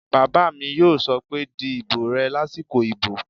Bàbá mi yóò sọ pé "di ìbò rẹ lásìkò ìbò!"